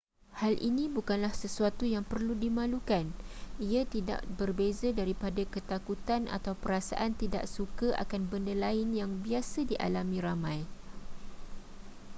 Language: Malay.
hal ini bukanlah sesuatu yang perlu dimalukan ia tidak berbeza daripada ketakutan atau perasaan tidak suka akan benda lain yang biasa dialami ramai